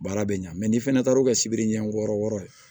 Baara bɛ ɲa n'i fana taara o ka sibiri ɲɛ wɔɔrɔ wɔɔrɔ